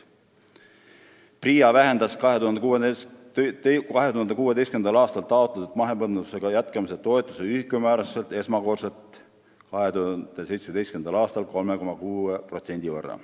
PRIA vähendas 2016. aastal taotletud mahepõllumajandusega jätkamise toetuse ühikumäärasid esimest korda 2017. aastal 3,6% võrra.